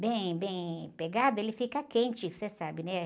Bem, bem pegado, ele fica quente, você sabe, né?